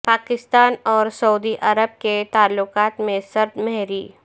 پاکستان اور سعودی عرب کے تعلقات میں سرد مہری